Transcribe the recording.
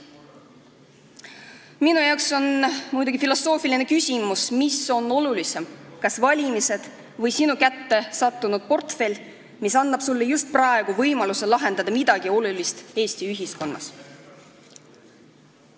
Minu jaoks on muidugi filosoofiline küsimus, mis on olulisem, kas valimised või sinu kätte sattunud portfell, mis annab sulle just praegu võimaluse lahendada midagi olulist Eesti ühiskonnas.